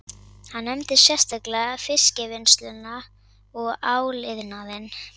Hann nefndi sérstaklega fiskvinnsluna og áliðnaðinn